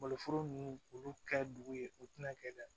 Maloforo ninnu olu ka dugu ye u tɛna kɛ dɛ